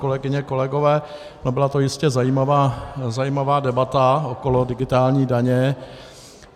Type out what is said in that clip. Kolegyně, kolegové, byla to jistě zajímavá debata okolo digitální daně.